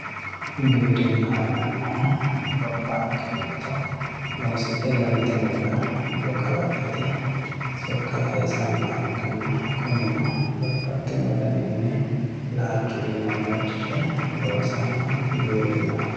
Giwirinaho yinanihu gobanke giddo loosidhegaltinorira mixo kalaqate sokka sayisanoha ikana kunino babaxino danini laalchu aana ilachishe loosanoha giwirinaho yine.